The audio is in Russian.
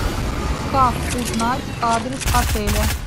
как узнать адрес отеля